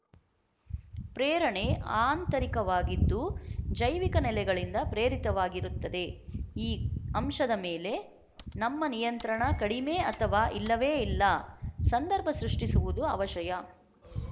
ಪ್ರೇರಣೆ ಆಂತರಿಕವಾಗಿದ್ದು ಜೈವಿಕ ನೆಲೆಗಳಿಂದ ಪ್ರೇರಿತವಾಗಿರುತ್ತದೆ ಈ ಅಂಶದ ಮೇಲೆ ನಮ್ಮ ನಿಯಂತ್ರಣ ಕಡಿಮೆ ಅಥವಾ ಇಲ್ಲವೇ ಇಲ್ಲ ಸಂದರ್ಭ ಸೃಷ್ಟಿಸುವುದು ಅವಶಯ